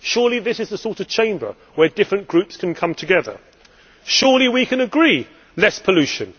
Surely this is the sort of Chamber where different groups can come together. Surely we can agree on less pollution.